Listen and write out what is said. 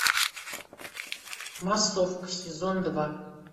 массовка сезон два